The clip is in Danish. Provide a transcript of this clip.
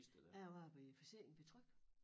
Jeg arbejdede i Forsikringen Tryg